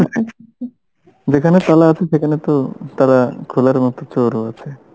যেখানে সোনা আছে সেখানে তো তালা খোলার মতো চোরও আছে